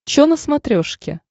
че на смотрешке